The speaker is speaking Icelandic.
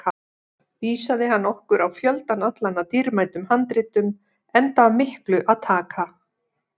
Vísaði hann okkur á fjöldann allan af dýrmætum handritum, enda af miklu að taka.